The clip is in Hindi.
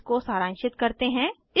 इसको सारांशित करते हैं